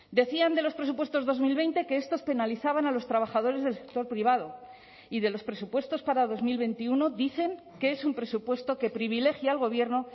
decían de los presupuestos dos mil veinte que estos penalizaban a los trabajadores del sector privado y de los presupuestos para dos mil veintiuno dicen que es un presupuesto que privilegia al gobierno